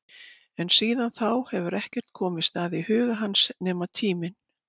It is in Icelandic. En síðan þá hefur ekkert komist að í huga hans nema tíminn.